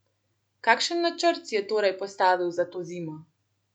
Kakšen načrt si je torej postavil za to zimo?